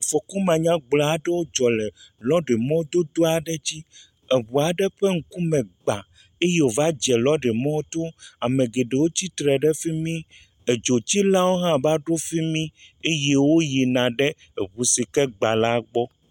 Afɔku manyagblɔ aɖewo dzɔ le lɔɖimɔdodo aɖe dzi. Eŋua aɖe ƒe ŋkume gba eye wova dze lɔɖimɔto. Ame geɖewo tsitre ɖe fi mi. Edzotsilawo hã va ɖo fi mie eye wo yina ɖe eŋu si ke gba la gbɔ.